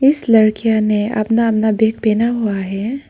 इस लड़कियां ने अपना अपना बैग पहना हुआ है।